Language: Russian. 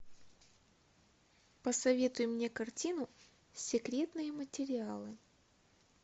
посоветуй мне картину секретные материалы